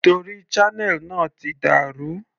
Torí channel náà ti dà rú.